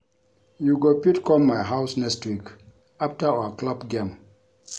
You go fit come my house next week after our club game